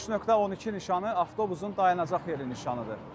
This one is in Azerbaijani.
5.12 nişanı avtobusun dayanacaq yeri nişanıdır.